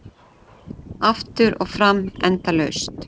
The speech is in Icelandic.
Aftur og fram endalaust.